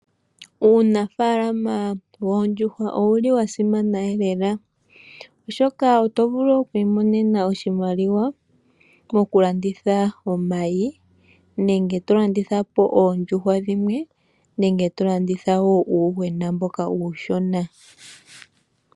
Uunafalama woondjuhwa owu li wa simana elela, oshoka oto vulu oku imonena oshimaliwa mokulanditha omayi, nenge to landitha po oondjuhwa dhimwe nenge to landitha wo uuyuhwena mboka uushona.